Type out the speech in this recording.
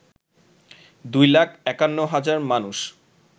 ২ লাখ ৫১ হাজার মানুষ